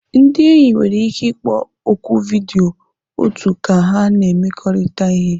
Ndị enyi nwere ike ịkpọ oku vidiyo otu ka ha na-emekọrịta ihe